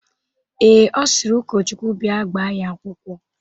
Ee, Ọ sịrị ụkọchukwu bịa gbaa ya akwụkwọ.